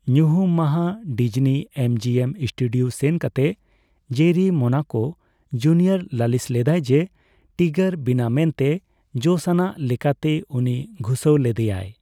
ᱧᱩᱦᱩᱢ ᱢᱟᱦᱟ Disney MGM studio ᱥᱮᱱ ᱠᱟᱛᱮ ᱡᱮᱨᱤ ᱢᱳᱱᱟᱠᱳ ᱡᱩᱱᱤᱭᱚᱨ ᱞᱟᱞᱤᱥ ᱞᱮᱫᱟᱭ ᱡᱮ, ᱴᱤᱜᱟᱨ ᱵᱤᱱᱟᱹ ᱢᱮᱱᱛᱮ ᱡᱚᱥ ᱟᱱᱟᱜ ᱞᱮᱠᱟᱛᱮ ᱩᱱᱤ ᱜᱷᱩᱥᱟᱹᱣ ᱞᱮᱫᱮᱭᱟᱭ ᱾